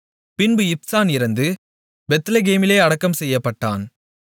பின்பு இப்சான் இறந்து பெத்லெகேமிலே அடக்கம் செய்யப்பட்டான்